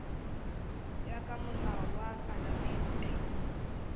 ya ka molao wa palamente